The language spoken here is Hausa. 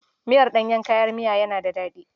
Miyar ɗanyen kayan miya yana da daɗi.